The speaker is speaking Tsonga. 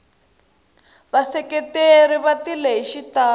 vaseketeri va tile hi xitalo